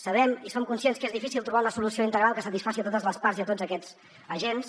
sabem i som conscients que és difícil trobar una solució integral que satisfaci totes les parts i tots aquests agents